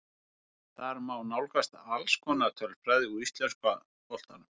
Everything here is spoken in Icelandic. Þar má nálgast alls konar tölfræði úr íslenska boltanum.